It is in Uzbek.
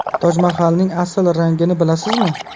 Tojmahalning asl rangini bilasizmi?.